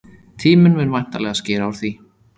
Tíminn mun væntanlega skera úr því.